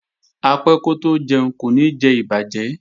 Apẹ́ kótó jẹun kò ní jẹ ìbàjẹ́